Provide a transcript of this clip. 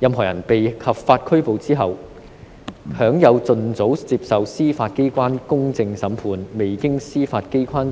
任何人在被合法拘捕後，享有盡早接受司法機關公正審判的權利，未經司法機關